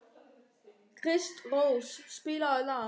Kristrós, spilaðu lag.